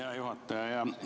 Hea juhataja!